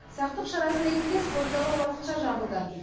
сақтық шарасы ретінде спорт залы уақытша жабылды